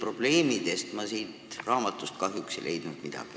Probleemide kohta ma siit raamatust kahjuks ei leidnud midagi.